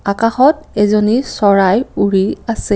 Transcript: আকাশত এজনী চৰাই উৰি আছে।